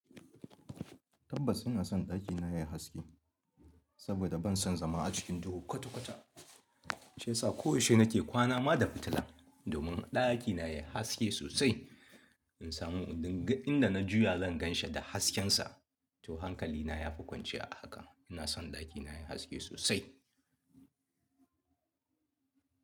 Tabbas ina son ɗakina yayi haske, saboda ban son zama a cikin duhu kwata-kwata. Shi yasa koyaushe nake kwana ma da fitila, domin ɗakina yayi haske sosai. In samu in duk inda na juya zan gan shi da hasken sa, to hankalina ya fi kwanciya a haka. Ina son ɗakina yayi haske sosai.